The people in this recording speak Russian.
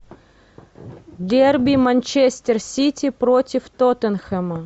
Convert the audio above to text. дерби манчестер сити против тоттенхэма